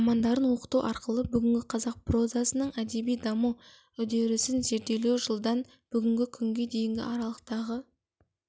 романдарын оқыту арқылы бүгінгі қазақ прозасының әдеби даму үдерісін зерделеу жылдан бүгінгі күнге дейінгі аралықтағы